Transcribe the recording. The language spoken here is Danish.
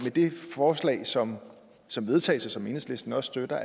det forslag som som vedtages og som enhedslisten også støtter